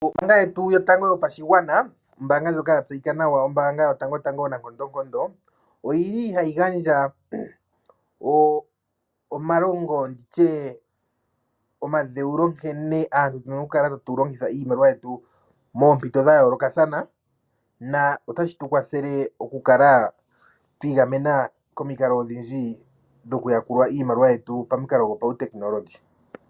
Ombaanga yetu yotango yopashigwana, ombaanga ndjoka ya tseyika nawanawa, ombaanga yotango onankondonkondo, ohayi gandja omalongo nenge omadheulo nkene aantu tu na okukala tatu longitha iimaliwa yetu moompito dha yoolokathana notashi tu kwathele okukala twi igamena komikalo odhindji dhokukala twa yakulwa iimaliwa yetu pamikalo dhopautekinolohi.